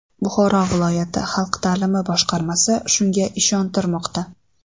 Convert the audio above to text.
Buxoro viloyati xalq ta’limi boshqarmasi shunga ishontirmoqda.